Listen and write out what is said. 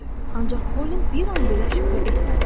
Ancaq Kolin bir an belə şübhə etmədi.